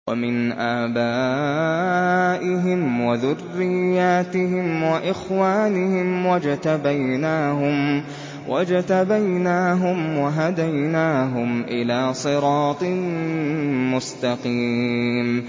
وَمِنْ آبَائِهِمْ وَذُرِّيَّاتِهِمْ وَإِخْوَانِهِمْ ۖ وَاجْتَبَيْنَاهُمْ وَهَدَيْنَاهُمْ إِلَىٰ صِرَاطٍ مُّسْتَقِيمٍ